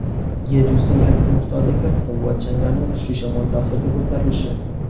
yer yuzidan katta miqdordagi qum va changlarni kuchli shamol ta’sirida ko‘tarilishi.